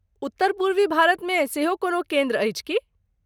उत्तर पूर्वी भारतमे सेहो कोनो केन्द्र अछि की?